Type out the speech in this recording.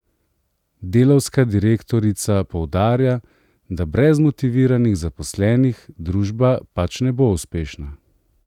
Delavska direktorica poudarja, da brez motiviranih zaposlenih družba pač ne bo uspešna.